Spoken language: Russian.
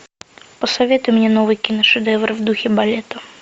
посоветуй мне новый киношедевр в духе балета